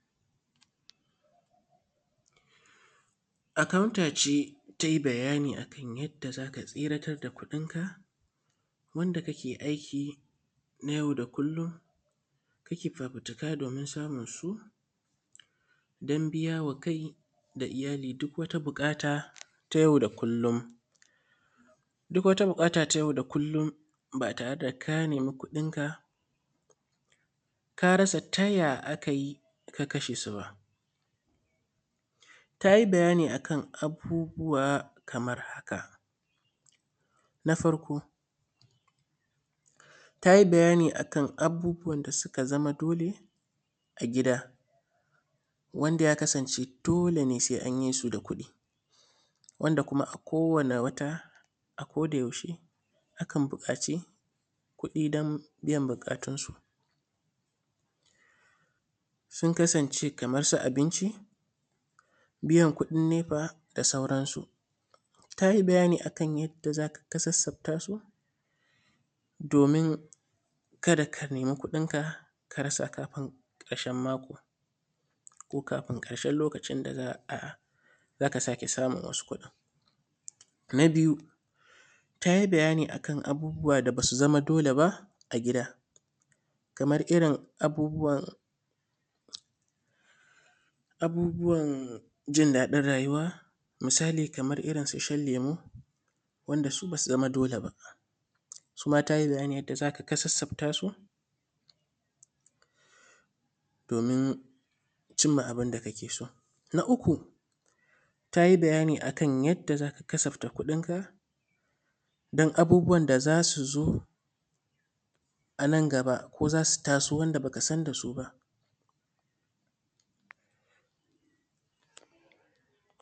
Akauntace tai bayani akan yadda zaka tsiratar da kuɗin ka wadda kake aiki nay au da kullum kake fafutuka domin samun su dan biyama kai da iyyali duk wata buƙata nay au da kullum. Duk wata buƙata ta yau da kullum ba tareda ka meni kuɗin ka, ka rasa taya akayi ka kashesu ba. Tayi bayani akan abubuwa kamar haka. Na farko tayi bayani abubuwan da suk zama dole a gida wanda ya kasance dole sai anyisu da kuɗi. Wanda kuma a kowani wata a koda yaushe akan buƙaci kuɗi dan biyan buƙatun su, sun kasance Kaman su abinci biyan kuɗin nefa da sauran su. Tayi bayani akan yadda zaka kasassaftasu domin kada ka nemi kuɗin ka karasa kafin ƙarshen mako ko kafin karshen lokacin da zaka sake samun wasu kuɗin. Na biyu tayi bayani akan abubuwa da basu zama dole ba a gida kamae irrin abubuwan, abubuwan jin daɗin rayuwa misali kamar irrin su shan lemu wanda su basu zama dole ba. Suma tayi bayani yadda zaka kasaftasu domin cimma abunda kake so. Na uku tayi bayani akan yadda zaka kasafta kuɗin ka dan abubuwan da zasu zo ananm gaba ko zasu taso wanda bakasan dasu ba.